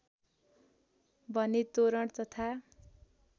भने तोरण तथा